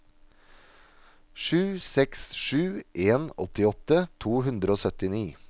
sju seks sju en åttiåtte to hundre og syttini